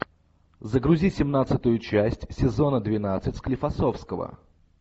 загрузи семнадцатую часть сезона двенадцать склифосовского